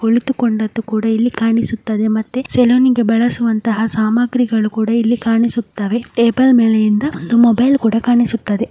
ಇದು ಒಂದು ಸಲುನ ಆಗಿದೆ ಅಲ್ಲಿ ಒಬ್ಬ ಫೋಟೋ ತೆಗಿತಿದ್ದಾನೆ ಒಬ್ಬ ಫುಲ್ಲೂ ವೈಟ್ ಕಲರ್ ಹಾಗೆ ಕುಡಿದು ಕಂಡದ್ದು ಸಹ ನಾವು ನೋಡಬಹುದಾಗಿದೆ ಹಾಗೂ ಸಲೂನಿಗೆ ಬಳಸುವಂತಹ ಸಾಮಗ್ರಿಗಳನ್ನು ಸಹ ಕಾಣಬಹುದಾಗಿದೆ ಟೇಬಲ್ ಮೇಲಿರುವ ಮೊಬೈಲ್ ಕೂಡ ಕಾಣಿಸುತ್ತದೆ.